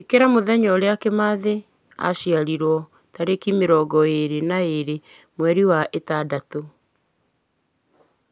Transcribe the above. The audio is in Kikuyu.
ĩkĩra mũthenya ũrĩa kĩmathi aciarirwo tarĩki mĩrongo ĩrĩ na ĩgĩrĩ mweri wa ĩtandatũ